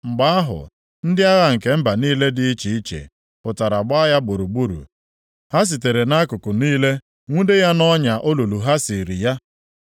Mgbe ahụ, ndị agha nke mba niile dị iche iche pụtara gbaa ya gburugburu. Ha sitere nʼakụkụ niile nwude ya nʼọnya olulu ha siiri ya.